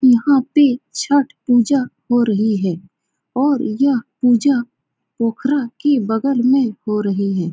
यहाँ पे छठ पूजा हो रही है और यह पूजा पोखरा के बगल में हो रही है।